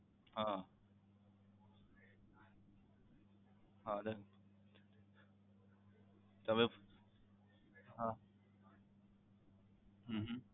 હા હા રે તમે હા હમ હમ